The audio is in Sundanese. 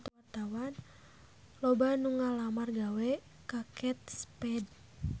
Loba anu ngalamar gawe ka Kate Spade